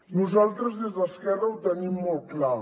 nosaltres des d’esquerra ho tenim molt clar